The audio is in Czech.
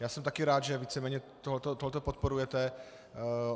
Já jsem také rád, že víceméně tohle podporujete.